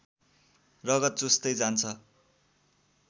रगत चुस्दै जान्छ